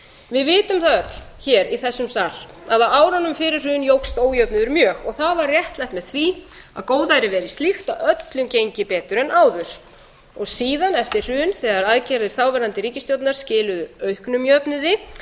við vitum það öll hér í þessum sal að á árunum fyrir hrun jókst ójöfnuður mjög og það var réttlætt með því að góðærið væri slíkt að öllum gengi betur en áður og síðan eftir hrun þegar aðgerðir þáverandi ríkisstjórnar skiluðu auknum jöfnuði